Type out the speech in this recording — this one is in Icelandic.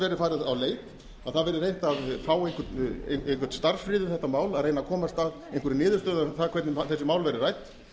farið á leit að það verði reynt að fá einhvern starfsfrið um þetta mál reyna að komast að einhverri niðurstöðu um það hvernig þessi mál verði rædd